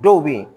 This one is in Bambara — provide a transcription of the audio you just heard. Dɔw bɛ yen